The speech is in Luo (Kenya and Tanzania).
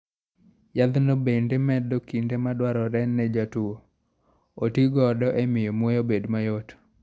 Yadhno bende medo kinde ma dwarore ne jatuwo oti godo e miyo muya obed mayot.